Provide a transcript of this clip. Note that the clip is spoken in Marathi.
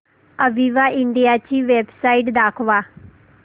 अविवा इंडिया ची वेबसाइट दाखवा